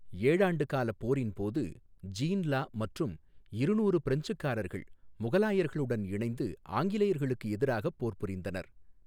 ஏழாண்டு காலப் போரின்போது Jean Law மற்றும் இருநூறு பிரெஞ்சுக்காரர்கள் முகலாயர்களுடன் இணைந்து ஆங்கிலேயர்களுக்கு எதிராகப் போர் புரிந்தனர்.